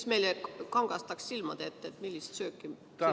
See kangastaks meile silmade ette, millist sööta silmas peetakse.